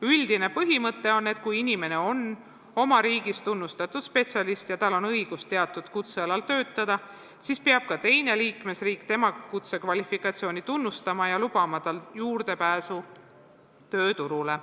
Üldine põhimõte on, et kui inimene on oma riigis tunnustatud spetsialist ja tal on õigus teatud kutsealal töötada, siis peab ka teine liikmesriik tema kutsekvalifikatsiooni tunnustama ja lubama tal juurdepääsu tööturule.